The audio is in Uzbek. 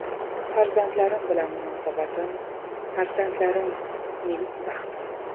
Farzandlarim bilan munosabatim Farzandlarim mening baxtim.